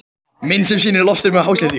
Mynd sem sýnir loftstreymi af hásléttu.